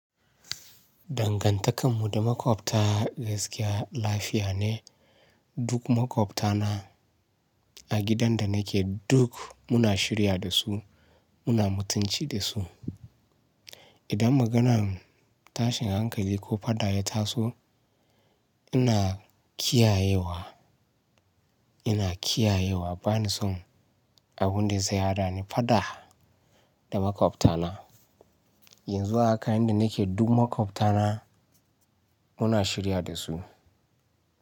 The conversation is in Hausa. Dangantakar mu da maƙwabta gaskiya lafiya ne. Duk maƙwabta na a gidan da nake duk muna shirya da su, muna mutunci da su. Idan maganan tashin hankali ko faɗa ya taso ina kiyayewa, ina kiyayewa bani son abun da zai haɗani faɗa da maƙwabta na. Yanzu a haka inda nake duk maƙwabta na. Muna shirya da su.